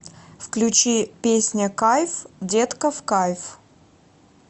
включи песня кайф детка в кайф